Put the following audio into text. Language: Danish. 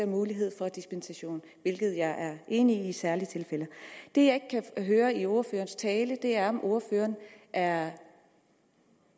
mulighed for dispensation hvilket jeg er enig i i særlige tilfælde det jeg ikke kan høre i ordførerens tale er om ordføreren er